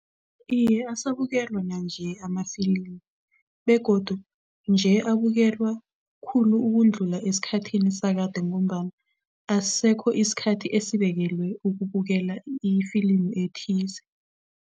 Iye, asbukelwa nanje amafilimi begodu nje abukelwa khulu ukundlula esikhathini sakade ngombana asisekho isikhathi esibekelwe ukubukela ifilimu ethize.